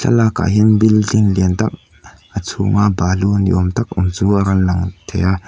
lakah hian building lian tak a chhung a balu ni awm tak awm chu a rawn lang thei a.